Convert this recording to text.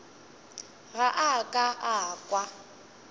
ga a ka a kwa